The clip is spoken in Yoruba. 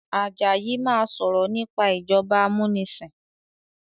Àjàyí má sọrọ nipa ìjọba amunisin